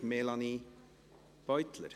Melanie Beutler.